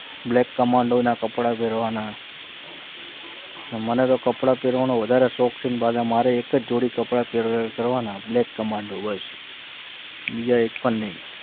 black commando ના કપડા પહેરવાના અને મને તો કપડાં પહેરવાનો વધારે શોખ છે અને પાછી મારે એક જ જોડી કપડાં પહેરવાના black commando બસ બીજા એક પણ નહીં